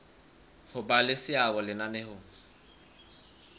ho ba le seabo lenaneong